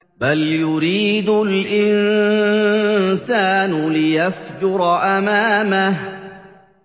بَلْ يُرِيدُ الْإِنسَانُ لِيَفْجُرَ أَمَامَهُ